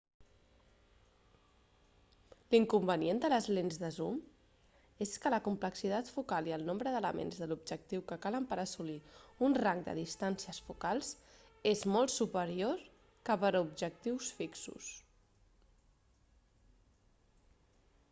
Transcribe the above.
l'inconvenient de les lents de zoom és que la complexitat focal i el nombre d'elements de l'objectiu que calen per assolir un rang de distàncies focals és molt superior que per a objectius fixos